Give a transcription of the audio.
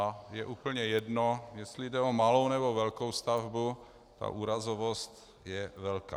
A je úplně jedno, jestli jde o malou, nebo velkou stavbu, ta úrazovost je velká.